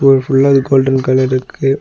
இது ஃபுல்லா இது கோல்டன் கலர் ருக்கு.